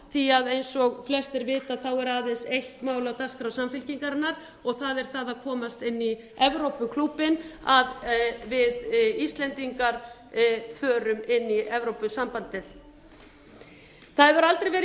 því að eins og flestir vita er aðeins eitt mál á dagskrá samfylkingarinnar og það er það að komast inn í evrópuklúbbinn að við íslendingar förum inn í evrópusambandið það hefur aldrei verið